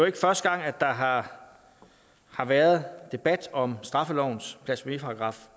ikke første gang der har har været debat om straffelovens blasfemiparagraf